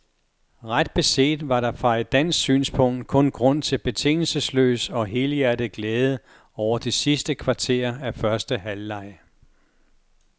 Ret beset var der fra et dansk synspunkt kun grund til betingelsesløs og helhjertet glæde over det sidste kvarter af første halvleg.